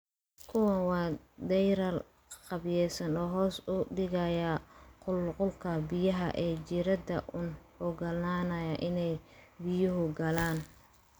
Kuwani waa deyrar qaabaysan oo hoos u dhigaya qulqulka biyaha ee jiirada una oggolaanaya inay biyuhu galaan.